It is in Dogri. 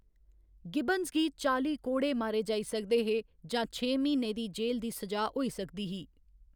गिब्बंस गी चाली कोड़े मारे जाई सकदे हे जां छें म्हीनें दी जे‌‌ल दी स'जा होई सकदी ही।